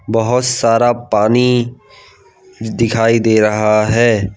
बहोत सारा पानी दिखाई दे रहा है।